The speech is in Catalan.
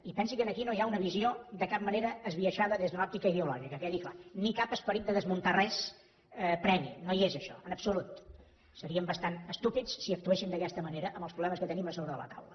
i pensi que aquí no hi ha una visió de cap manera esbiaixada des d’una òptica ideològica que quedi clar ni cap esperit de desmuntar res previ no hi és això en absolut seríem bastant estúpids si actuéssim d’aquesta manera amb els problemes que tenim a sobre la taula